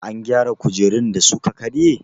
An gyara kujerun da suka karye?